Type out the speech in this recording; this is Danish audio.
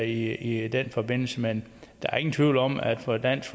i den forbindelse men der er ingen tvivl om at for dansk